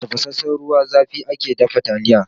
Da tafasassan ruwan zafi ake dafa taliya.